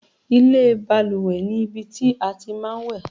ilé ìbalùwẹ̀ ni ibi tí a tí máa ń wẹ̀